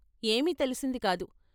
ఏమీ తెలిసింది కాదు.